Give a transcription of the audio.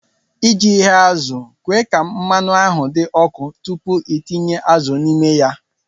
ị ji ghe azụ̀, kwe ka mmanụ ahụ dị ọkụ tupu ị tinye azụ̀ n'ime ya